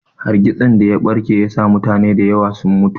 Hargitsin daya ɓarke yasa mutane da yawa sun mutu.